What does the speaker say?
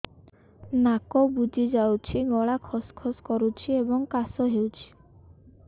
ନାକ ବୁଜି ଯାଉଛି ଗଳା ଖସ ଖସ କରୁଛି ଏବଂ କାଶ ହେଉଛି